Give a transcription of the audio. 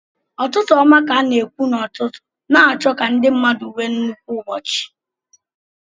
Ụtụtụ ọma ka a na-ekwu n'ụtụtụ, na-achọ ka ndị mmadụ nwee nnukwu ụbọchị